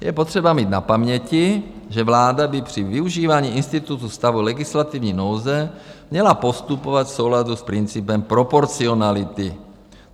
Je potřeba mít na paměti, že vláda by při využívání institutu stavu legislativní nouze měla postupovat v souladu s principem proporcionality.